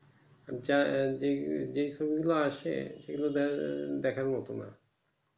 যেই ছবি গুলো আছে সেইগুলো দেখার মতন নয়